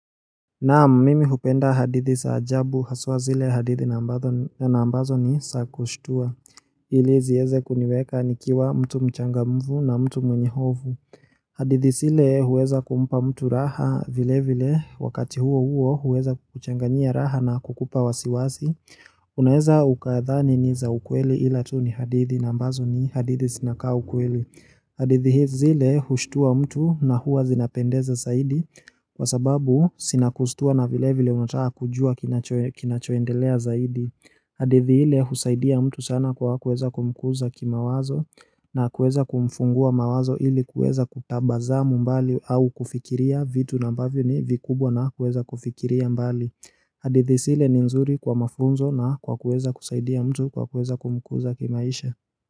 Naam mimi hupenda hadithi za ajabu haswa zile hadithi na ambazo ni za kushtua. Ili zieze kuniweka nikiwa mtu mchangamfu na mtu mwenye hofu. Hadithi zile huweza kumpa mtu raha vile vile wakati huo huo huweza kuchanganyia raha na kukupa wasiwasi. Unaeza ukadhani ni za ukweli ila tu ni hadithi na ambazo ni hadithi zinakaa ukweli. Hadithi zile hushtua mtu na huwa zinapendeza zaidi kwa sababu zinakustua na vile vile unataka kujua kinachoendelea zaidi hadithi ile husaidia mtu sana kwa kuweza kumkuza kimawazo na kuweza kumfungua mawazo ili kuweza kutabasamu mbali au kufikiria vitu na ambavyo ni vikubwa na kuweza kufikiria mbali hadithi zile ni nzuri kwa mafunzo na kwa kuweza kusaidia mtu kwa kueza kumkuza kimaisha.